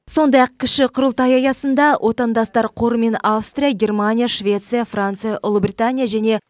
сондай ақ кіші құрылтай аясында отандастар қоры мен аустрия германия швеция франция ұлыбритания және